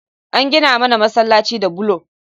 An gina mana masalaci da bulo